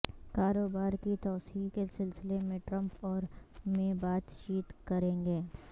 کاروبار کی توسیع کے سلسلے میں ٹرمپ اور مے بات چیت کریں گے